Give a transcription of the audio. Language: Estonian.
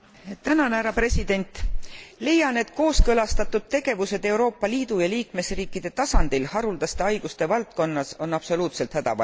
Leian, et kooskõlastatud tegevused Euroopa Liidu ja liikmesriikide tasandil haruldaste haiguste valdkonnas on absoluutselt hädavajalikud.